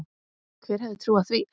Hver hefði trúað því.